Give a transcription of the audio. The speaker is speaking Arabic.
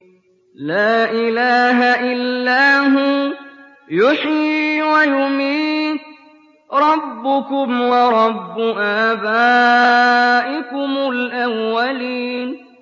لَا إِلَٰهَ إِلَّا هُوَ يُحْيِي وَيُمِيتُ ۖ رَبُّكُمْ وَرَبُّ آبَائِكُمُ الْأَوَّلِينَ